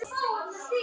Stuð á æfingum þar!